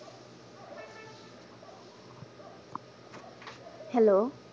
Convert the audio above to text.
hello